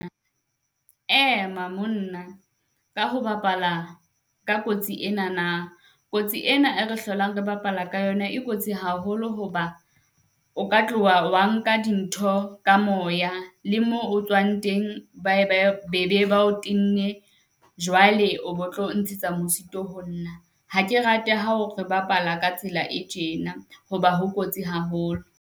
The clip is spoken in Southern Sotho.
Ema monna ka ho bapala ka kotsi enana. Kotsi ena e re hlolang re bapala ka yona e kotsi haholo ho ba o ka tloha wa nka dintho ka moya le moo o tswang teng be be ba o tenne. Jwale o tlo ntshetsa mosito ho nna, ha ke rate ya ha o re bapala ka tsela e tjena hoba ho kotsi haholo.